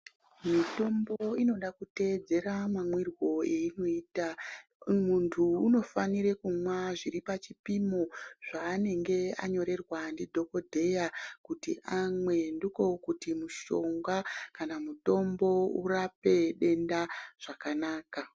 Mitombo inoda kuteedzera mamwirwo enoita muntu unofanire kumwa zviripachipimo zvanenge anyorerwe ngedhokodheya kuti amwe ndiko kuti mushonga kana mutombo urape denda zvakanaka